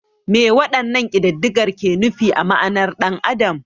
Me waɗannan kididdigar ke nufi a ma'anar ɗan adam?